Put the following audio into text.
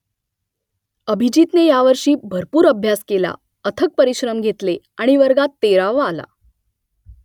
अभिजीतने यावर्षी भरपूर अभ्यास केला अथक परिश्रम घेतले आणि वर्गात तेरावा आला